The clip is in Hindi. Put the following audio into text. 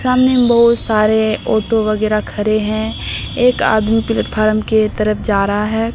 सामने में बहोत सारे ऑटो वगैरा खड़े हैं एक आदमी प्लेटफार्म के तरफ जा रहा है।